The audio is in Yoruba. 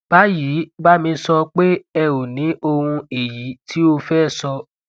báyìí bá mi sọ pé ẹ o ní ohun èyí tí o fẹ sọ